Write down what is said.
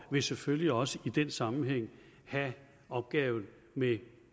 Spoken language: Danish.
vil selvfølgelig også i den sammenhæng have opgaven med